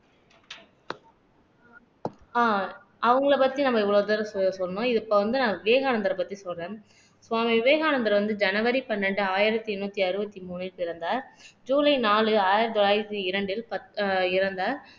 ஆஹ் அவங்களை பத்தி நம்ம இவ்வளவு தூரம் சொ சொன்னோம் இது இப்ப வந்து நான் விவேகானந்தரை பத்தி சொல்றேன் சுவாமி விவேகானந்தர் வந்து ஜனவரி பன்னெண்டு ஆயிரத்தி எண்ணூத்தி அறுபத்தி மூணில் பிறந்தார் ஜூலை நாலு ஆயிரத்தி தொள்ளாயிரத்தி இரண்டில் பத் இறந்தார்